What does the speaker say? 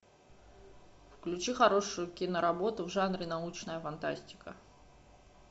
включи хорошую киноработу в жанре научная фантастика